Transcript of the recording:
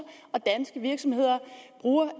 og danske virksomheder bruger